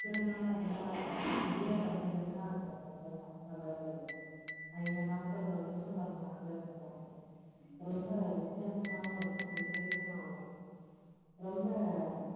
சில நாளாயிருந்தா பெரிய பண்டிகைன்னா இந்த பொங்கல் தான் அதுவும் இந்த நாட்கள் தொடர்ந்து வர்ற நாட்கள் பொங்கல் ரொம்பவித்தியாசமாவும் இருக்கும் விஷேசமாவும் இருக்கும் ரொம்ப